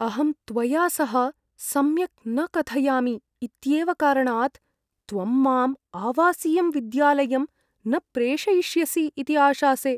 अहं त्वया सह सम्यक् न कथयामि इत्येव कारणात्, त्वं माम् आवासीयं विद्यालयं न प्रेषयिष्यसि इति आशासे।